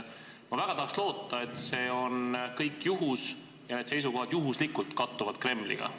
Ma tahaks väga loota, et see kõik on juhus ja seisukohad kattuvad Kremliga juhuslikult.